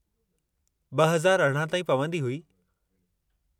2018 ताईं, पवंदी हुई।